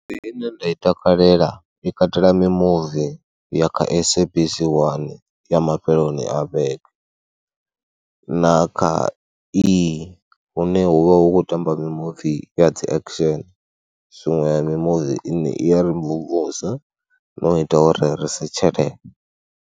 Ndi ine nda i takalela i katela mimuvi ya kha SABC 1 ya mafheloni a vhege na kha E, hune hu vha hu khou tamba mimuvi ya dziaction zwiṅwe ya mimuvi ine i ya ri mvumvusa no ita uri risetshelele.